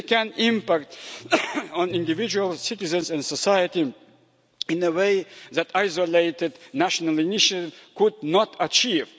They can impact on individual citizens and society in a way that isolated national initiatives could not achieve.